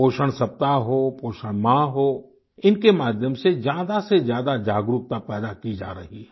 पोषण सप्ताह हो पोषण माह हो इनके माध्यम से ज्यादा से ज्यादा जागरूकता पैदा की जा रही है